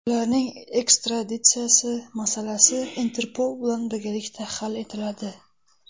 Ularning ekstraditsiyasi masalasi Interpol bilan birgalikda hal etiladi.